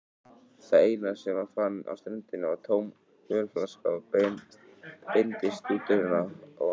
Það eina sem hann fann á ströndinni var tóm ölflaska og beindist stúturinn að honum.